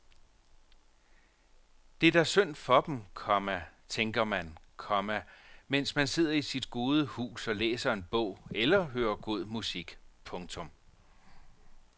Det er da synd for dem, komma tænker man, komma mens man sidder i sit gode hus og læser en bog eller hører god musik. punktum